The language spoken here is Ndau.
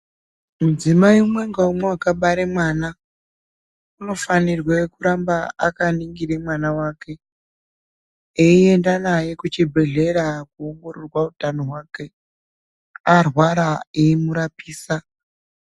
Mudzimai umwe ngaumwe wakabare mwana unofanirwe kuramba akaningire mwana wake eienda naye kuchibhehlera koongororwa utano hwake, arwara eimurapisa .